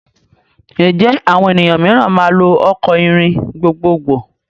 Ǹjẹ́ àwọn ènìyàn mìíràn máa lò ọkọ̀ ìrìn gbogbogbò?